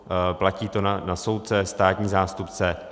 Platí to na soudce, státní zástupce.